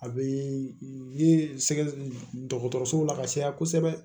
A bɛ ye sɛ dɔgɔtɔrɔso la ka caya kosɛbɛ